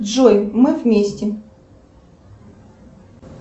джой мы вместе